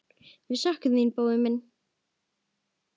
Við söknum þín, Bói minn.